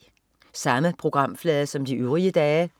Samme programflade som de øvrige dage